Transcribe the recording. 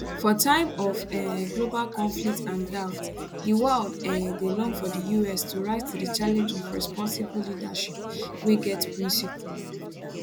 for time of um global conflict and doubt di world um dey long for di us to rise to di challenge of responsible leadership wey get principled